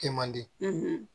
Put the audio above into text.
Kɛ man di